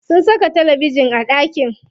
Sun saka talabejin a ɗakin.